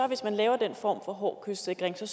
hvis man laver den form for hård kystsikring så